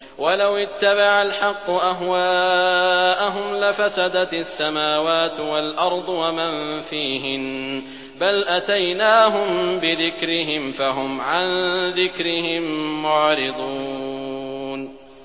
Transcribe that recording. وَلَوِ اتَّبَعَ الْحَقُّ أَهْوَاءَهُمْ لَفَسَدَتِ السَّمَاوَاتُ وَالْأَرْضُ وَمَن فِيهِنَّ ۚ بَلْ أَتَيْنَاهُم بِذِكْرِهِمْ فَهُمْ عَن ذِكْرِهِم مُّعْرِضُونَ